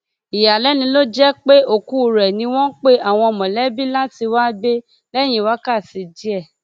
ìyàlẹnu ló jẹpẹ òkú rẹ ni wọn pe àwọn mọlẹbí láti wáá gbé lẹyìn wákàtí díẹ